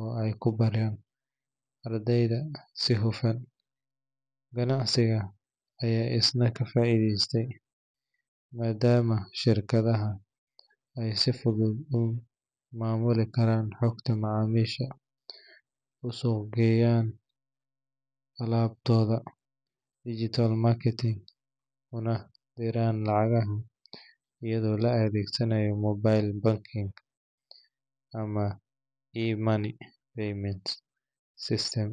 oo ay ku bareen ardayda si hufan. Ganacsiga ayaa isna ka faa’iideystay, maadaama shirkadaha ay si fudud u maamuli karaan xogta macaamiisha, u suuqgeyn karaan alaabtooda digital marketing, una diraan lacagaha iyadoo la adeegsanaayo mobile banking ama e-payment system.